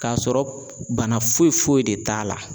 K'a sɔrɔ bana foyi foyi de t'a la.